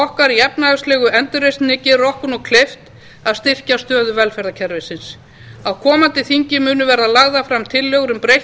okkar í efnahagslegu endurreisninni gerir okkur nú kleift að styrkja stöðu velferðarkerfisins á komandi þingi verða lagðar fram tillögur um breytt